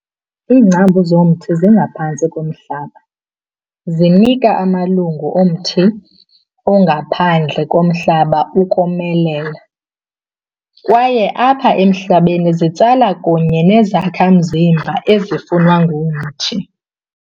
Iingcambu zomthi zingaphantsi komhlaba, zinika amalungu omthi angaphandle komhlaba ukomelela, kwaye apha emhlabeni zitsala kunye neenezakha mzimba ezifunwa ngumthi.